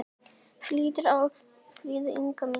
Hvíldu í friði, Inga mín.